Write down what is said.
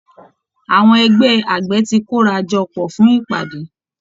Àwọn ẹgbẹ́ àgbẹ̀ ti kóra jọ pọ̀ fún ìpàdé